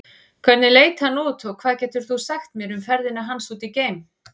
Hvernig leit hann út og hvað getur þú sagt mér um ferðina hans út geim?